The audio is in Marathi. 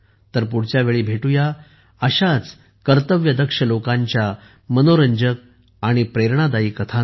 पुढच्या वेळी भेटू या अशाच कर्तव्यदक्ष लोकांच्या मनोरंजक आणि प्रेरणादायी कथांसह